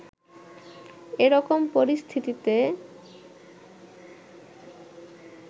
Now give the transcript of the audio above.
এ রকম পরিস্থিতিতে